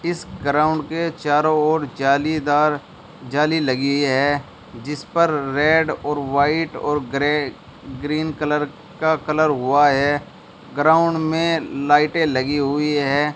इस ग्राउंड के चारों ओर जालीदार जाली लगी है जिस पर रेड और वाइट और ग्रे ग्रीन कलर का कलर हुआ है ग्राउंड में लाइटें लगी हुई है।